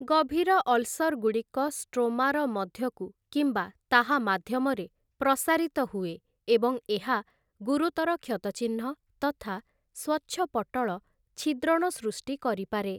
ଗଭୀର ଅଲ୍‍ସର୍‍ଗୁଡ଼ିକ ଷ୍ଟ୍ରୋମାର ମଧ୍ୟକୁ କିମ୍ବା ତାହା ମାଧ୍ୟମରେ ପ୍ରସାରିତ ହୁଏ ଏବଂ ଏହା ଗୁରୁତର କ୍ଷତଚିହ୍ନ ତଥା ସ୍ୱଚ୍ଛପଟ୍ଟଳ ଛିଦ୍ରଣ ସୃଷ୍ଟି କରିପାରେ ।